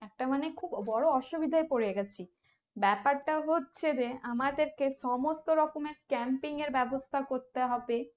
একটা মানে খুব বোরো অসুবিধায় পরে গিয়েছি ব্যাপারটা হচ্ছে যে আমাদেরকে সমস্ত রকমের Camping এর ব্যাবস্থা করতে হবে